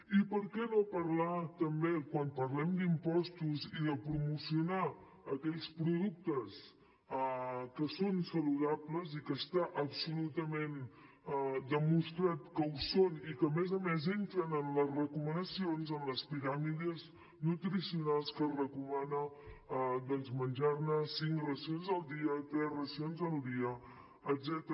i per què no parlar també quan parlem d’impostos i de promocionar aquells productes que són saludables i que està absolutament demostrat que ho són i que a més a més entren en les recomanacions en les piràmides nutricionals que es recomana menjar ne cinc racions al dia tres racions al dia etcètera